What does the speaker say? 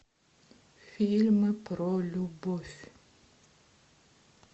фильмы про любовь